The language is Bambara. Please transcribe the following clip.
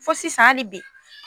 Fo sisan ali bi